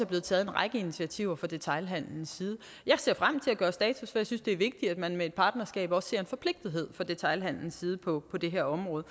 blevet taget en række initiativer fra detailhandelens side jeg ser frem til at gøre status for jeg synes det er vigtigt at man med et partnerskab også ser en forpligtethed fra detailhandelens side på det her område